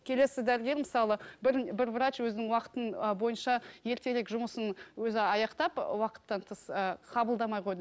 келесі дәрігер мысалы бір бір врач өзінің уақытын ы бойынша ертерек жұмысын өзі аяқтап уақыттан тыс ыыы қабылдамай қойды